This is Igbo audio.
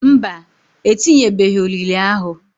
Mba, etinyebeghi olili ahu.